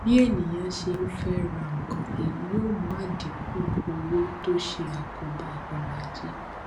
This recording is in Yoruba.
bí ènìyàn ṣe ń fẹ ra nǹkan èyí yóò mú àdínkù ọwó tó ṣe àkóbá ọrọajé